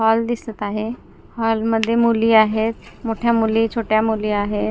Hall दिसत आहे hall मध्ये मुली आहेत मोठ्या मुली छोट्या मुली आहेत.